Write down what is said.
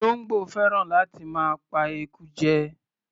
Olóńgbò fẹ́ràn láti máa pa eku jẹ.